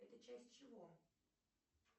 это часть чего